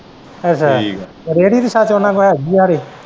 ਅੱਛਾ ਰੇੜੀ ਤਾਂ ਸੱਚ ਉਨਾਂ ਤੋਂ ਹੈਗੀ ਐ ਹਰੇ।